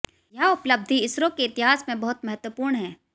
यह उपलब्धि इसरो के इतिहास में बहुत महत्वपूर्ण है